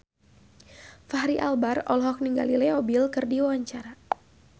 Fachri Albar olohok ningali Leo Bill keur diwawancara